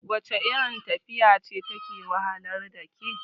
wacce irin tafiya ce take wahalar da kai?